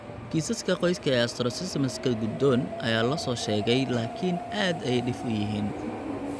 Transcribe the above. Kiisaska qoyska ee astrocytomaska go'doon ayaa la soo sheegay laakiin aad ayay dhif u yihiin.